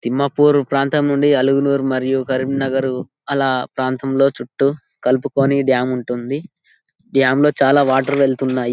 తిమ్మాపూర్ ప్రాంతము నుండి అలుగునారు మరియు కరీంనగర్ అలా ప్రాంతంలో చుట్టు కలుపుకొని డామ్ ఉంటుంది డామ్ లో చాలా వాటర్ వెళ్తున్నాయి.